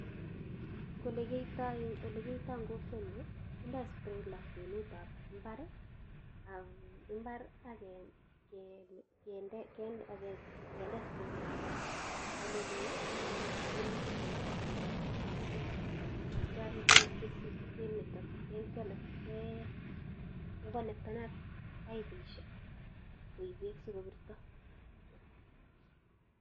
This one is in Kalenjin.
Engolekiyoito en kokwenyun kindoo sprinkler mbar, akende sprinkler ake oleloo akende ake kounot, kindea kindeat kwenusiek ii akityia kekonektenat poipusiek koip beek sikobirto